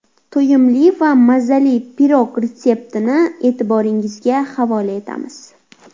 To‘yimli va mazali pirog retseptini e’tiboringizga havola etamiz.